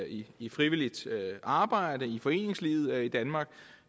i i frivilligt arbejde i foreningslivet i danmark